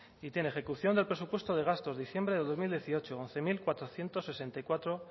y tiene ejecución del presupuesto de gastos diciembre de dos mil dieciocho once mil cuatrocientos sesenta y cuatro